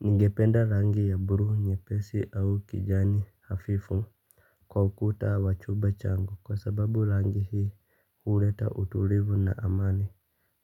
Ningependa rangi ya blue nyepesi au kijani hafifu. Kwa ukuta wa chumba changu kwa sababu rangi hii huleta utulivu na amani.